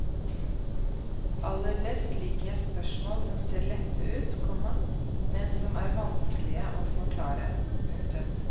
Aller best liker jeg spørsmål som ser lette ut, komma men som er vanskelige å forklare. punktum